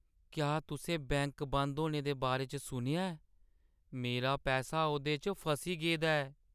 क्या तुसें बैंक बंद होने दे बारे च सुनेआ ऐ? मेरा पैसा ओह्दे च फसी गेदा ऐ।